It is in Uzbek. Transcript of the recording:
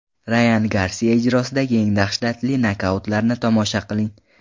Rayan Garsiya ijrosidagi eng dahshatli nokautlarni tomosha qiling !